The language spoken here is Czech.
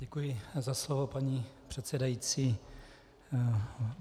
Děkuji za slovo, paní předsedající.